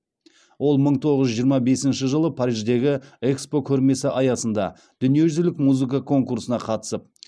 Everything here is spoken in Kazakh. ол мың тоғыз жүз жиырма бесінші жылы париждегі экспо көрмесі аясында дүниежүзілік музыка конкурсына қатысып